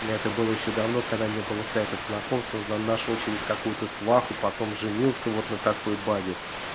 это было ещё давно когда не было сайтов знакомств нашёл через какую-то сваху потом женился вот на такой бабе